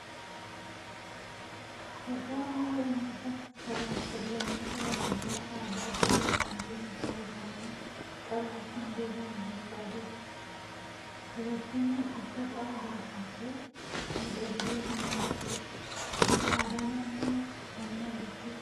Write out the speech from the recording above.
Itoophiyaan biyya uummata, sabaa fi sab-lammoota garaa garaa aadaa, duudhaa fi amantii mataa isaanii qabaachuun beekaman kan qabdudha. Dubartiin kun uffata aadaa uffattee miidhagdee kan mul'attudha. Aadaa naannoo kamii hordofti?